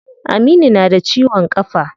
Aminu na da ciwon kafa.